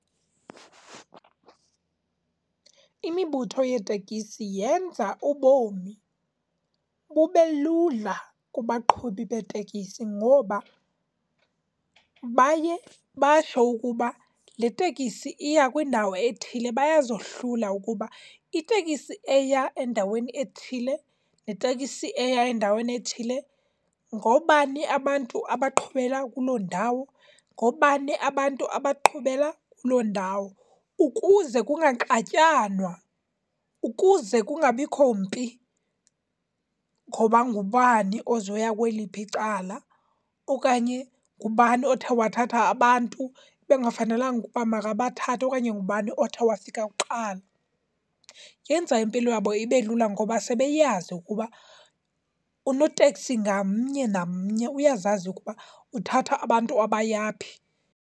Imibutho yeetekisi yenza ubomi bube lula kubaqhubi beetekisi ngoba baye batsho ukuba le tekisi iya kwindawo ethile. Bayazohlula ukuba itekisi eya endaweni ethile netekisi eya endaweni ethile, ngoobani abantu abaqhubela kuloo ndawo, ngoobani abantu abaqhubela kuloo ndawo. Ukuze kungaxatyanwa, ukuze kungabikho mpi. Ngoba ngubani ozoya kweliphi cala, okanye ngubani othe wathatha abantu bekungafanelanga ukuba makabathathe okanye ngubani othe wafika kuqala. Yenza impilo yabo ibe lula ngoba sebeyazi ukuba unoteksi ngamnye namnye uyazazi ukuba uthatha abantu abaya phi.